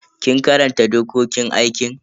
Kin karanta dokokin aikin?